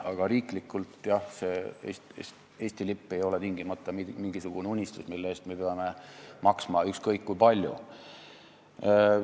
Aga riiklikult, jah, Eesti lipp laeval ei ole tingimata unistus, mille täitumise nimel me peame maksma ükskõik kui palju.